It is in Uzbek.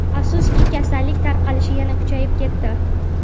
Afsuski, kasallik tarqalishi yana kuchayib ketdi.